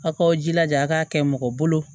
A k'aw jilaja a k'a kɛ mɔgɔ bolo